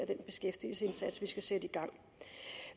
den beskæftigelsesindsats som vi skal sætte i gang